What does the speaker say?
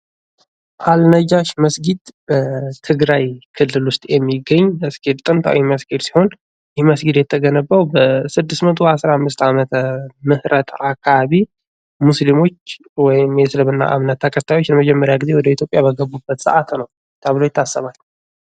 አል ነጃሺ መስጊድ በትግራይ ክልል ውስጥ የሚገኝ ጥንታዊ መስጊድ ሲሆን ይህ መስጊድ የተገነባው በ 615 ዓ.ም አካባቢ ሙስሊሞች ወይም የእስልምና እምነት ተከታዮች የመጀመሪያ ጊዜ ወደ ኢትዮጵያ በገቡበት ሰአት ነው ተብሎ ይታሰባል።